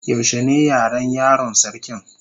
Yaushe ne Yaran yaron sarkin?